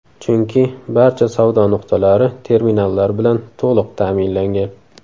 Chunki barcha savdo nuqtalari terminallar bilan to‘liq ta’minlangan.